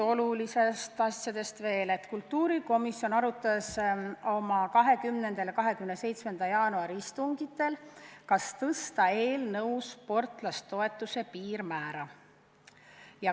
Olulistest asjadest veel seda, et kultuurikomisjon arutas oma 20. ja 27. jaanuari istungitel, kas tõsta sportlasetoetuse piirmäära.